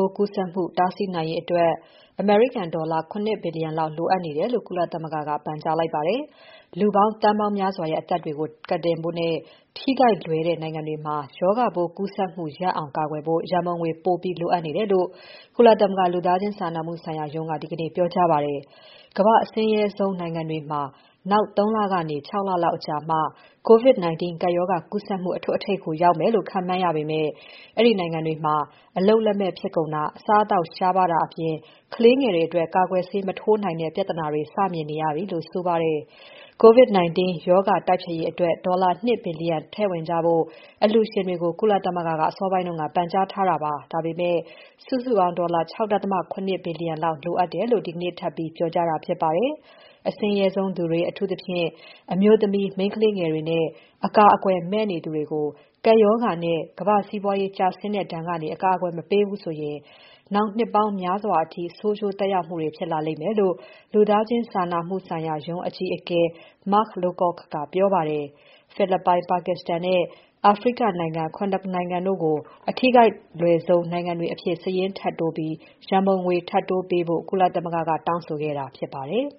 ိုးကူးစက်မှု တားဆီးနိုင်ရေးအတွက် ဒေါ်လာ ၇ ဘီလီယံလောက် လိုအပ်နေတယ်လို့ ကုလသမဂ္ဂက ပန်ကြားလိုက်ပါတယ်။ လူသန်းပေါင်းများစွာရဲ့ အသက်တွေကို ကယ်တင်ဖို့နဲ့ ထိခိုက်လွယ်တဲ့ နိုင်ငံတွေမှာ ရောဂါပိုးကူးစက်မှု ရပ်အောင်ကာကွယ်ဖို့ ရန်ပုံငွေ ပိုပြီး လိုအပ်နေတယ်လို့ ကုလသမဂ္ဂ လူသားချင်းစာနာမှုဆိုင်ရာရုံးက ဒီကနေ့ ပြောကြားပါတယ်။ ကမ္ဘာ့အဆင်းရဲဆုံးနိုင်ငံတွေမှာ နောက် ၃ လကနေ ၆ လအချိန်လောက်မှ COVID-19 ကပ်ရောဂါကူးစက်မှု အထွဋ်အထိပ်ကို ရောက်မယ်လို့ ခန့်မှန်းရပေမဲ့ အဲဒီနိုင်ငံတွေမှာ အလုပ်လက်မဲ့ဖြစ်ကုန်တာ၊ အစားအသောက်ရှားပါးတာအပြင် ကလေးငယ်တွေအတွက် ကာကွယ်ဆေး မထိုးနိုင်တဲ့ ပြသေနာတွေ စ မြင်နေရပြီလို့ဆိုပါတယ်။ COVID-19 ရောဂါတိုက်ဖျက်ရေးအတွက် ဒေါ်လာ ၂ ဘီလီယံ ထည့်ဝင်ကြဖို့ အလှူရှင်တွေကို ကုလသမဂ္ဂက အစောပိုင်းက ပန်ကြားထားပေမဲ့ စုစုပေါင်း ဒေါ်လာ ၆.၇ ဘီလီယံလောက်လိုအပ်တယ်လို့ ဒီကနေ့ ထပ်ပြီး ပြောကြားတာဖြစ်ပါတယ်။ အဆင်းရဲဆုံးသူတွေ အထူးသဖြင့် အမျိုးသမီး၊ မိန်းကလေးငယ်တွေနဲ့ အကာအကွယ်မဲ့နေသူတွေကို ကပ်ရောဂါနဲ့ ကမ္ဘာ့စီးပွားရေး ကျဆင်းတဲ့ဒဏ်ကနေ အကာအကွယ်မပေးဘူးဆိုရင် နောက်နှစ်ပေါင်းများစွာအထိ ဆိုးကျိုးသက်ရောက်မှုတွေ ဖြစ်လာလိမ့်မယ်လို့ လူသားချင်းစာနာမှုဆိုင်ရာရုံး အကြီးအကဲ Mark Lowcock ကပြောပါတယ်။ ဖိလစ်ပိုင်၊ Pakistanနဲ့ အာဖရိကနိုင်ငံ ၇ နိုင်ငံခုကို အထိခိုက်လွယ်ဆုံး နိုင်ငံတွေအဖြစ် စာရင်းထပ်တိုးပြီး ရန်ပုံငွေ ထပ်တိုးပေးဖို့ ကုလသမဂ္ဂက တောင်းဆိုခဲ့တာဖြစ်ပါတယ်